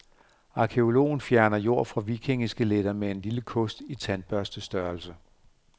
Arkæologen fjerner jord fra vikingeskeletter med en lille kost i tandbørstestørrelse.